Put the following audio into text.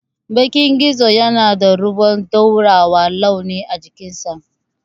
Bakan gizo yana da ruwan dorawar launi a cikinsa.